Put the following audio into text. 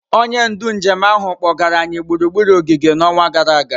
Onye ndu njem ahụ kpọgara anyị gburugburu ogige n'ọnwa gara aga.